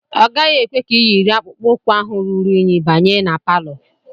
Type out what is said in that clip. Ọ gaghị ekwe ka iyiri akpụkpọ ụkwụ ahụ ruru unyi banye ma palọ